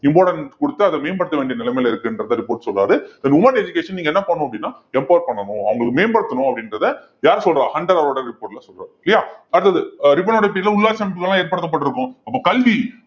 importance கொடுத்து அதை மேம்படுத்த வேண்டிய நிலைமையில இருக்குன்றதை report சொல்றாரு then women education நீங்க என்ன பண்ணணும் அப்படின்னா பண்ணணும் அவங்களுக்கு மேம்படுத்தணும் அப்படின்றதை யார் சொல்றா ஹண்டர் அவரோட report ல சொல்றாரு இல்லையா அடுத்தது அஹ் ரிப்பனுடைய period ல உள்ளாட்சி அமைப்புகள்லாம் ஏற்படுத்தப்பட்டிருக்கும் அப்ப கல்வி